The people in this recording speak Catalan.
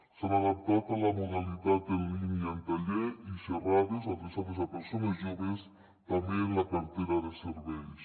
s’han adaptat a la modalitat en línia tallers i xerrades adreçades a persones joves també en la cartera de serveis